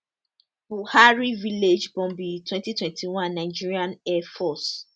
buwari village bombing 2021 nigerian air force